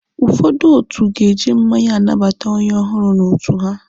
Ụfọdụ otu ga-eji mmanya anabata onye ọhụrụ n'otu ha.